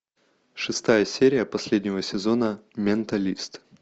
шестая серия последнего сезона менталист